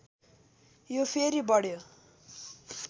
यो फेरि बढ्यो